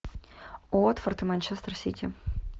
уотфорд и манчестер сити